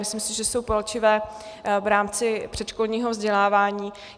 Myslím si, že jsou palčivé v rámci předškolního vzdělávání.